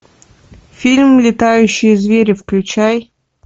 фильм летающие звери включай